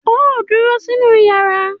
Óò dúró sínú yàrá!